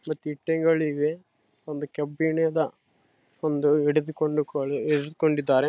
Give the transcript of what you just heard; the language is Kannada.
ಮತ್ತೆ ಇಟ್ಟಂಗಿಗಳಿವೆ ಒಂದು ಕಬ್ಬಿಣದ ಒಂದು ಹಿಡಿದುಕೊಂಡಕೋಳಿ ಹಿಡಿದುಕೊಂಡಿದ್ದಾರೆ.